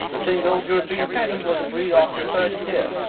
The single European patent was agreed after 30 years.